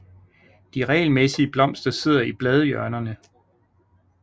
De regelmæssige blomster sidder i bladhjørnerne